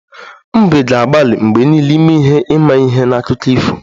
Mbe ga-agbalị mgbe niile ime ihe imaihe na akụkọ ifo